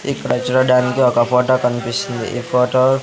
ఇక్కడ చూడడానికి ఒక ఫోటో కనిపిస్తుంది ఈ ఫోటో .